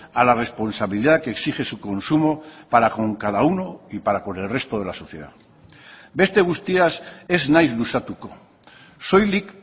a la responsabilidad que exige su consumo para con cada uno y para con el resto de la sociedad beste guztiaz ez naiz luzatuko soilik